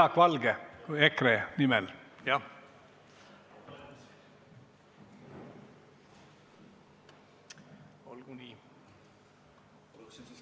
Jaak Valge EKRE nimel!